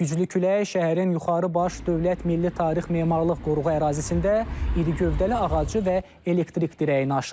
Güclü külək şəhərin yuxarı baş dövlət milli tarix memarlıq qoruğu ərazisində iri gövdəli ağacı və elektrik dirəyini aşırıb.